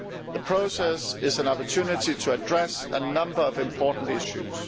The process is an opportunity to address a number of important issues.